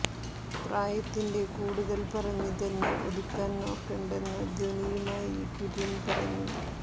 പ്രായത്തിന്റെ കൂടുതൽ പറഞ്ഞ് തന്നെ ഒതുക്കാൻ നോക്കേണ്ടെന്ന ധ്വനിയുമായി കുര്യൻ പറഞ്ഞു